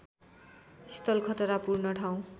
स्थल खतरापूर्ण ठाउँ